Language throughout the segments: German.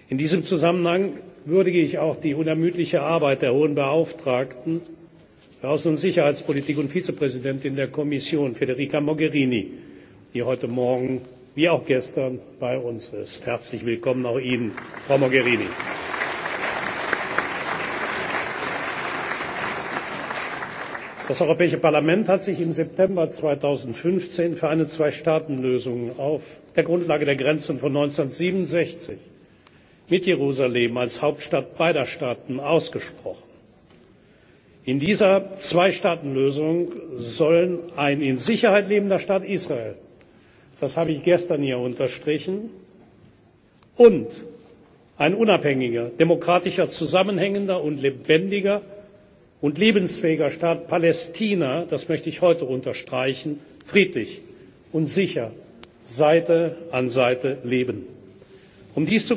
bleibt. In diesem Zusammenhang würdige ich auch die unermüdliche Arbeit der Hohen Beauftragten für Außen und Sicherheitspolitik und Vizepräsidentin der Kommission, Federica Mogherini, die heute Morgen, wie auch gestern, bei uns ist. Herzlich willkommen auch Ihnen, Frau Mogherini! Das Europäische Parlament hat sich im September 2015 für eine Zweistaatenlösung auf der Grundlage der Grenzen von 1967 mit Jerusalem als Hauptstadt beider Staaten ausgesprochen. In dieser Zweistaatenlösung sollen ein in Sicherheit lebender Staat Israel das habe ich gestern hier unterstrichen und ein unabhängiger, demokratischer, zusammenhängender und lebendiger und lebensfähiger Staat Palästina das möchte ich heute unterstreichen friedlich und sicher Seite an Seite leben. Um dies zu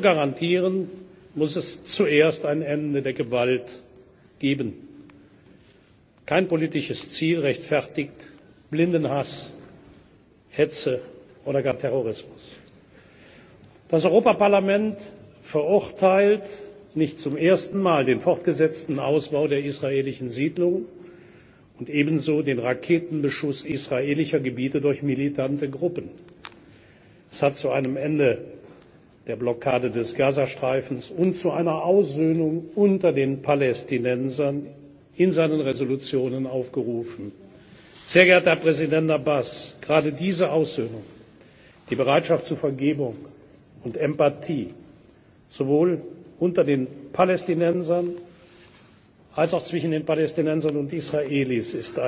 garantieren, muss es zuerst ein Ende der Gewalt geben. Kein politisches Ziel rechtfertigt blinden Hass, Hetze oder gar Terrorismus. Das Europäische Parlament verurteilt nicht zum ersten Mal den fortgesetzten Ausbau der israelischen Siedlungen und ebenso den Raketenbeschuss israelischer Gebiete durch militante Gruppen. Es hat in seinen Entschließungen zu einem Ende der Blockade des Gazastreifens und zu einer Aussöhnung unter den Palästinensern aufgerufen. Sehr geehrter Herr Präsident Abbas! Gerade diese Aussöhnung die Bereitschaft zur Vergebung und Empathie sowohl unter den Palästinensern als auch zwischen den Palästinensern und den Israelis ist